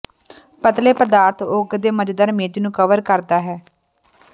ਪਤਲੇ ਪਦਾਰਥ ਉਗ ਦੇ ਮਜ਼ੇਦਾਰ ਮਿੱਝ ਨੂੰ ਕਵਰ ਕਰਦਾ ਹੈ